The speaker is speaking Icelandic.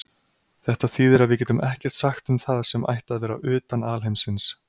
Þetta þýðir að við getum ekkert sagt um það sem ætti að vera utan alheimsins.